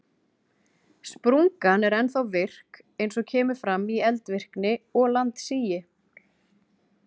Sprungan er ennþá virk eins og kemur fram í eldvirkni og landsigi.